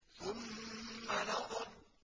ثُمَّ نَظَرَ